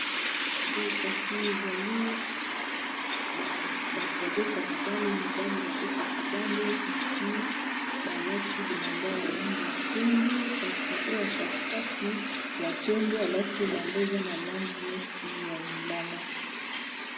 Boye kasi ezali bato babetaka bale mibali babetaka bale kasi balati bilamba ya langi ya pembe, kasi oyo katikati ya pembe alati elamba eza na langi neti ya lilala.